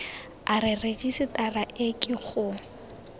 a rejisetara e ke go